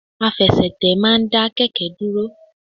Àfẹsẹ̀tẹ̀ ma n da kẹkẹ dúrò